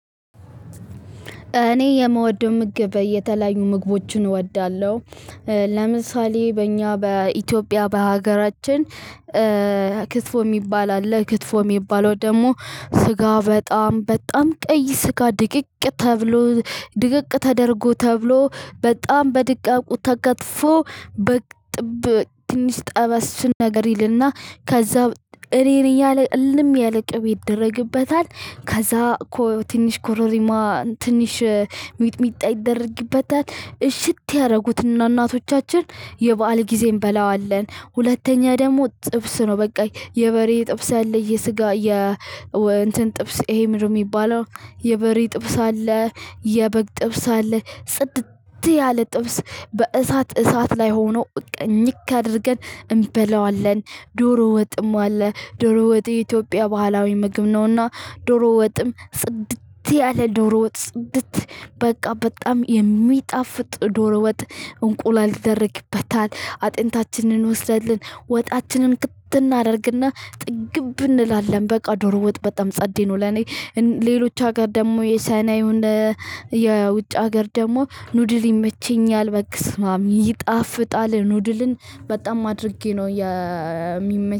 እኔ የምወደው ምግብ የተለያዩ ምግቦችን እወዳለሁ። ለምሳሌ በእኛ በኢትዮጵያ በሀገራችን ክትፎ የሚባል አለ። ክትፎ የሚባለው ደሞ ስጋ በጣም በጣም ቀይ ስጋ ድቅቅ ተብሎ ድቅቅ ተደርጎ ተብሎ በጣም በድቃቁ ተከትፎ በጥብ ትንሽ ጠበስ ነገር ይልና ከዛው እሪሪ እያለ እልም ያለ ቅብ ይደረግበታል። ከዛ ትንሽ ኮሮሪማ ትንሽ ሚጥሚጣ ይደረግበታል እሽት ያደረጉትንና እናቶቻችን የበአል ጊዜ እንበላዋለን። ሁለተኛ ደግሞ ጥብስ ነው በቃኝ የበሬ ጥብስ ያለ የስጋ የ እንትን ጥብስ ይሄ ምን ነው የሚባለው? የበሬ ጥብስ አለ። የበግ ጥብስ አለ ጽድት ያለ ጥብስ በእሳት እሳት ላይ ሆኖ እኝክ አድርገን እንበላዋለን። ዶሮ ወጥም አለ ዶሮ ወጥ የኢትዮጵያ ባህላዊ ምግብ ነውና። ዶሮ ወጥም ጽድት ያለ ዶሮ ወጥ ጽድት በቃ በጣም የሚጣፍጥ ዶሮ ወጥ። እንቁላል ትደረግበታል አጥንታችንን ወስደን ወጣችንን ክት እናደርግና ጥግብ እንላለን በቃ ዶሮ ወጥ በጣም ጸዴ ነው። ለኔ ሌሎች ሀገር ደግሞ የሰናዩን የውጭ ሀገር ደግሞ ኑድል ይመቸኛል። በቃ በስማም ይጣፍጣል ኑድልን በጣም አድርጌ ነው የሚመቸኝ